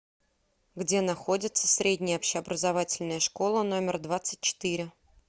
где находится средняя общеобразовательная школа номер двадцать четыре